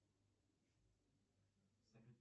салют